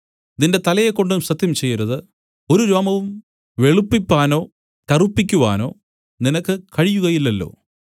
നിന്റെ തലയെക്കൊണ്ടും സത്യം ചെയ്യരുത് ഒരു രോമവും വെളുപ്പിപ്പാനോ കറുപ്പിക്കുവാനോ നിനക്ക് കഴിയുകയില്ലല്ലോ